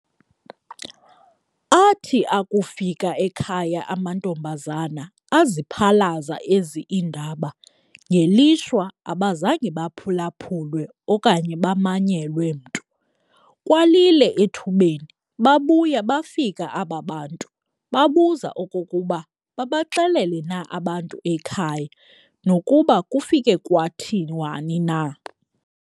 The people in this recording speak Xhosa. Athi akufika ekhaya amantombazana aziphalaza ezi indaba, ngelishwa abazange baphulaphulwe okanye bamanyelwe mntu. Kwalile ethubeni, babuya bafika aba bantu, babuza okokuba babaxelele na abantu ekhaya, nokuba kufike kwathiwani na?